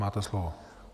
Máte slovo.